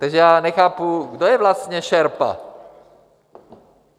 Takže já nechápu, kdo je vlastně šerpa.